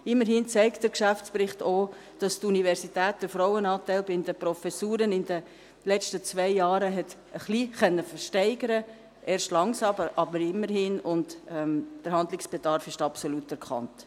Immerhin zeigt der Geschäftsbericht auch, dass die Universität den Frauenanteil bei den Professuren in den letzten zwei Jahren etwas steigern konnte – erst langsam, aber immerhin –, und der Handlungsbedarf ist absolut erkannt.